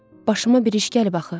Başıma bir iş gəlib axı.